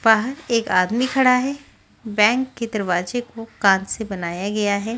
बाहर एक आदमी खड़ा है बैंक के दरवाजे को कांच से बनाया गया है।